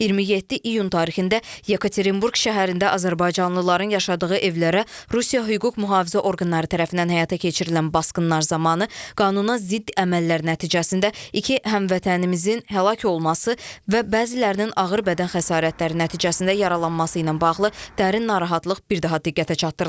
27 iyun tarixində Yekaterinburq şəhərində azərbaycanlıların yaşadığı evlərə Rusiya hüquq mühafizə orqanları tərəfindən həyata keçirilən basqınlar zamanı qanuna zidd əməllər nəticəsində iki həmvətənimizin həlak olması və bəzilərinin ağır bədən xəsarətləri nəticəsində yaralanması ilə bağlı dərin narahatlıq bir daha diqqətə çatdırılıb.